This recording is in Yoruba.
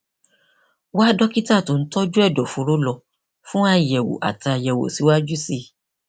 wá dókítà tó ń tọjú àrùn ẹdọfóró lọ fún àyẹwò àti àyẹwò síwájú sí i